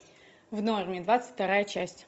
в норме двадцать вторая часть